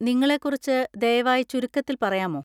നിങ്ങളെക്കുറിച്ച് ദയവായി ചുരുക്കത്തിൽ പറയാമോ?